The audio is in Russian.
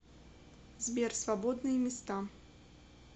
сбер свободные места